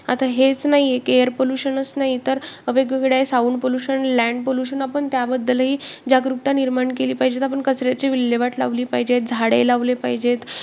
आता हेच नाही की air pollution च नाही तर वेगवेगळे sound pollution, land pollution आपण त्याबद्दलही जागरूकता निर्माण केली पाहिजे, आपण कचऱ्याची विल्हेवाट लावली पाहिजे. झाडे लावली पाहिजेत.